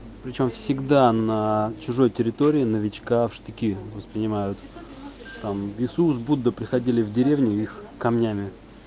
причём всегда на чужой территории новичка в штыки воспринимают там иисус будда приходили в деревню их камнями